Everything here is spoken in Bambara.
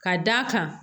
Ka d'a kan